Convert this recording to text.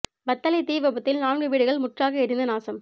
வத்தளை தீ விபத்தில் நான்கு வீடுகள் முற்றாக எரிந்து நாசம்